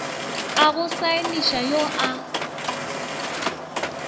a go saeniša yo a